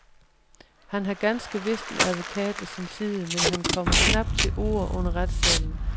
Han har ganske vist en advokat ved sin side, men han kommer knap til orde under retssagen.